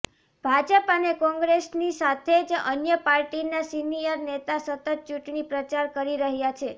ભાજપ અને કોંગ્રેસની સાથે જ અન્ય પાર્ટીના સીનિયર નેતા સતત ચૂંટણી પ્રચાર કરી રહ્યા છે